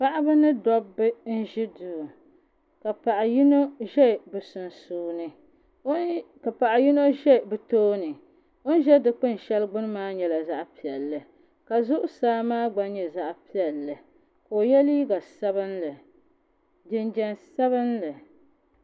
Paɣaba ni Dabba n ʒi duu ka paɣa yino ʒɛ bi tooni o ni ʒɛ dikpuni shɛli gbuni maa nyɛla zaɣ piɛlli ka zuɣusaa maa gna nyɛ zaɣ piɛlli ka o yɛ liiga sabinli jinjɛm sabinli